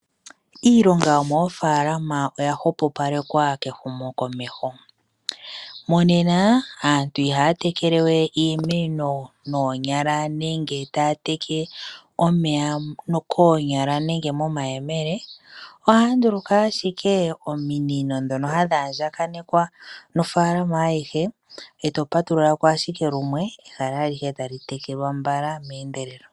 Iilonga yomoofaalama oya hwepopalekwa kehumokomeho. Monenena aantu ihaya tekele we iimeno noonyala nenge taya teke omeya koonyala nenge momayemele. Ohaya nduluka ashike ominino ndhono hadhi andjaganekwa nofaalama ayihe, e to patulula ko ashike lumwe ehala alihe talitekelwa mbala, meendelelo.